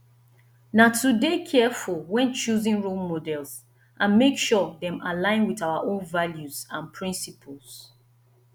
na to dey careful when choosing role models and make sure dem align with our own values and principles